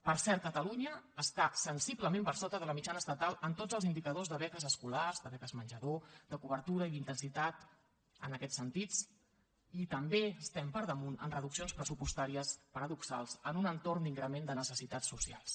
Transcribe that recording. per cert catalunya està sensiblement per sota de la mitjana estatal en tots els indicadors de beques escolars de beques menjador de cobertura i d’intensitat en aquests sentits i també estem per damunt en reduccions pressupostàries paradoxals en un entorn d’increment de necessitats socials